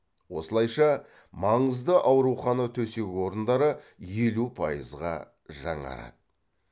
осылайша маңызды аурухана төсек орындары елу пайызға жаңарады